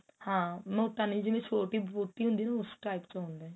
ਹਾਂ ਮੋਟਾ ਨਹੀਂ ਜਿਵੇਂ ਛੋਟੀ ਬੋਤੀ ਹੁੰਦੀ ਏ ਨਾ ਉਸ type ਚ ਹੋਵੇ